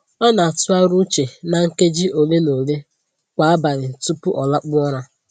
Ọ na-atụgharị uche na nkeji ole na ole kwa abalị tupu ọ lakpuo ụra